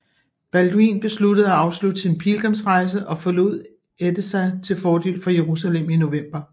Balduin besluttede at afslutte sin pilgrimsrejse og forlod Edessa til fordel for Jerusalem i november